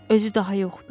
Özü daha yoxdur.